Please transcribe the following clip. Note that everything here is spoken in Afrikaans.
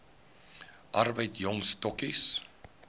arbeid jong stokkies